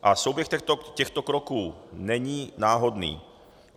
A souběh těchto kroků není náhodný.